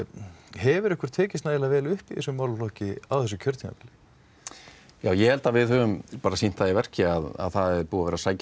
hefur ykkur tekist nægilega vel upp í þessum málaflokki á þessu kjörtímabili já ég held að við höfum sýnt það í verki að það er búið að vera sækja